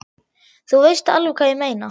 Þú veist alveg hvað ég meina!